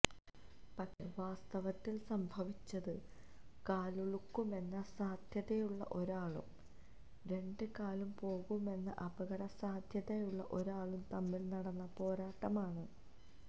പക്ഷേ വാസ്തവത്തില് സംഭവിച്ചത് കാലുളുക്കുമെന്ന സാധ്യതയുള്ള ഒരാളും രണ്ടു കാലും പോകുമെന്ന അപകടസാധ്യതയുള്ള ഒരാളും തമ്മില് നടന്ന പോരാട്ടമാണ്